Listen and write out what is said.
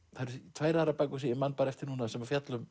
tvær aðrar bækur sem ég man eftir núna sem fjalla um